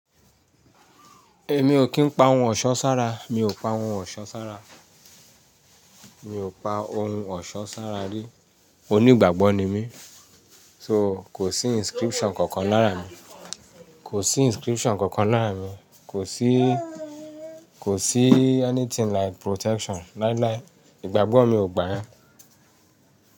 Èmi ò kí ń pa ohun ọ̀ṣọ́ sára, mi ò pa ohun ọ̀ṣọ́ sára. Mi ò pa ohun ọ̀ṣọ́ sára rí. Oní ìgbàgbọ́ ni mí, so kò sí inscription kankan láàra mi. Kò sí inscription kankan láàárín mi. Kò sí, kò sí anything like protection láíláí. Ìgbàgbọ́ mi ò gbà yẹn.